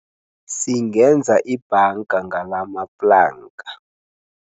Singenza ibhanga ngalamaplanka.